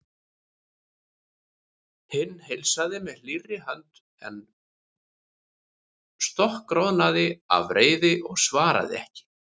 Hinn heilsaði með hlýrri hönd en stokkroðnaði af reiði og svaraði ekki.